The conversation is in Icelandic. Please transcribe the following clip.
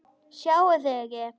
Sjáið þið ekki?